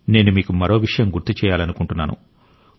నేను మీకు మరో విషయం గుర్తు చేయాలనుకుంటున్నాను